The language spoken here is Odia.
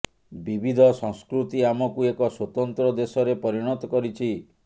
ବିବିଧ ସଂସ୍କୃତି ଆମକୁ ଏକ ସ୍ୱତନ୍ତ୍ର ଦେଶରେ ପରିଣତ କରିଛି